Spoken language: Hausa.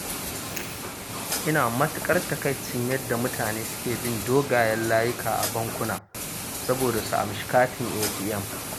Ina matuƙar takaicin yadda mutane suke bin dogayen layuka a bankuna saboda su amshi katin ATM